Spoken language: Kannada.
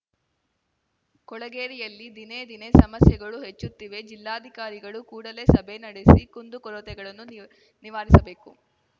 ಕೊಳೆಗೇರಿಯಲ್ಲಿ ದಿನೇ ದಿನೇ ಸಮಸ್ಯೆಗಳು ಹೆಚ್ಚುತ್ತಿವೆ ಜಿಲ್ಲಾಧಿಕಾರಿಗಳು ಕೂಡಲೇ ಸಭೆ ನಡೆಸಿ ಕುಂದು ಕೊರತೆಗಳನ್ನು ನಿವ್ ನಿವಾರಿಸಬೇಕು